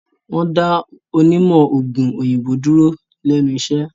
Wọ́n dá onímọ̀-òògùn òyìnbó dúró lẹ́nu iṣẹ́.